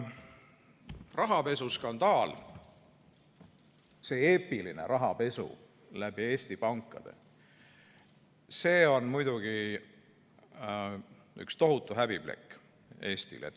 Rahapesuskandaal, see eepiline rahapesu läbi Eesti pankade, see on muidugi üks tohutu häbiplekk Eestile.